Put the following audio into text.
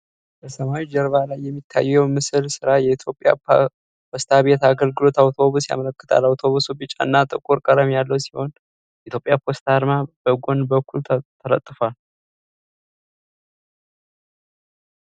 በሰማያዊ ጀርባ ላይ የሚታየው የምስል ሥራ የኢትዮጵያ ፖስታ ቤት የአገልግሎት አውቶቡስ ያመለክታል። አውቶቡሱ ቢጫና ጥቁር ቀለም ያለው ሲሆን፣ የኢትዮጵያ ፖስታ አርማ በጎን በኩል ተለጥፏል።